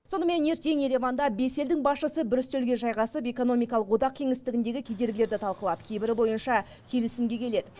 сонымен ертең ереванда бес елдің басшысы бір үстелге жайғасып экономикалық одақ кеңістігіндегі кедергілерді талқылап кейбірі бойынша келісімге келеді